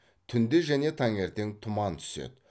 түнде және таңертең тұман түседі